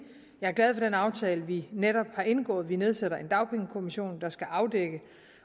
jeg er glad for den aftale vi netop har indgået vi nedsætter en dagpengekommission der skal afdække